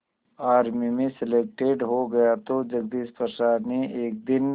army में selected हो गया तो जगदीश प्रसाद ने एक दिन